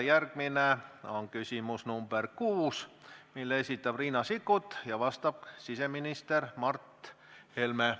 Järgmine on küsimus nr 6, mille esitab Riina Sikkut ja vastab siseminister Mart Helme.